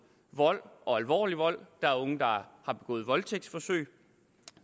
vold og alvorlig vold der er unge der har begået voldtægtsforsøg